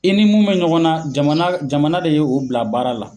I ni mun bɛ ɲɔgɔn na, jamana jamana de ye o bila baara la.